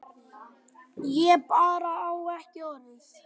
Ég bara á ekki orð.